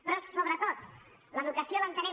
però sobretot l’educació l’entenem